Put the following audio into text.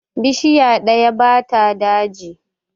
Bishiya ɗaya ba ta daji.